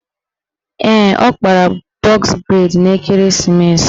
Ee, ọ kpara bọz breid n'ekeresimeesi